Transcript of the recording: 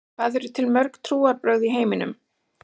Hvað eru til mörg trúarbrögð í heiminum?